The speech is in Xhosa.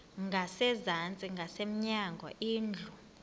ngasezantsi ngasemnyango indlu